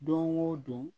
Don o don